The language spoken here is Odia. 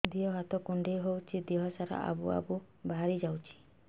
ଦିହ ହାତ କୁଣ୍ଡେଇ ହଉଛି ଦିହ ସାରା ଆବୁ ଆବୁ ବାହାରି ଯାଉଛି